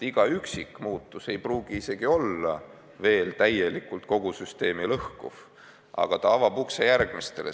Iga üksik muutus ei pruugi veel täielikult kogu süsteemi lõhkuda, aga ta avab ukse järgmistele.